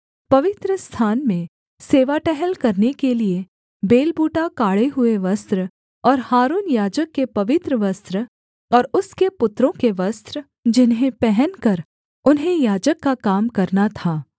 पवित्रस्थान में सेवा टहल करने के लिये बेल बूटा काढ़े हुए वस्त्र और हारून याजक के पवित्र वस्त्र और उसके पुत्रों के वस्त्र जिन्हें पहनकर उन्हें याजक का काम करना था